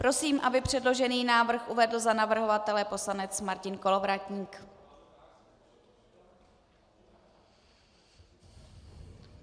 Prosím, aby předložený návrh uvedl za navrhovatele poslanec Martin Kolovratník.